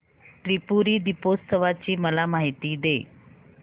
त्रिपुरी दीपोत्सवाची मला माहिती दे